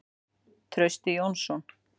Trausti Jónsson.